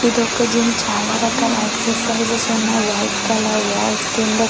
ఇదొక జిమ్ చాలా రకాల ఎక్సర్సిస్ ఉన్న వైట్ కలర్ వాల్స్ కింద ఫ్లోర్ --